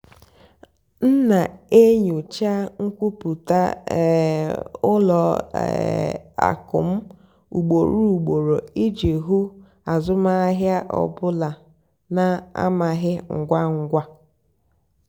m nà-ènyócha nkwúpụ́tá um ùlọ um àkụ́ m ùgbòrò ùgbòrò ìjì hụ́ àzụ́mahìá ọ́ bụ́là nà-àmàghị́ ngwá ngwá.